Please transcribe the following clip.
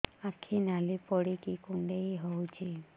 ଆଖି ନାଲି ପଡିକି କୁଣ୍ଡେଇ ହଉଛି